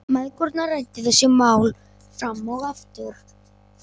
Mæðgurnar ræddu þessi mál fram og aftur.